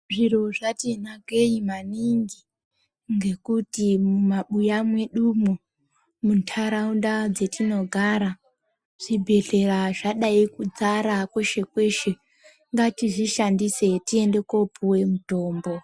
Zviro zvatunakei maningi ngekuti Mumabuya mwedumo mundaraunda dzatinogara zvibhedhlera zvadzara kweshe kweshe ngatizvishandise tiende kopuwa mitombo.